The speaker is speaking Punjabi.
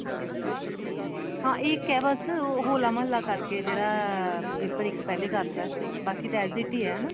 ਹਾਂ ਇੱਕ ਹੈ ਬੱਸ ਹੋਲਾ ਮਹੱਲਾ ਕਰਕੇ ਜਿਹੜਾ paper ਇੱਕ ਪਹਿਲੇ ਕਰਤਾ ਬਾਕੀ ਤਾਂ as a ties ਆ ਹਨਾ